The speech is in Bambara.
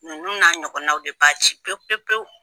Ninnu n'a ɲɔgɔnnaw de b'a ci pewu-pewu-pewu